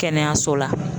Kɛnɛyaso la